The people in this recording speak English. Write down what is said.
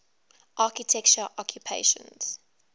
architecture occupations